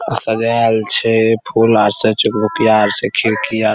सजायल छै फूल आर से चुक-भुकियाँ आर से खिड़की --